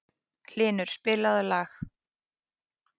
Hylur, spilaðu lag.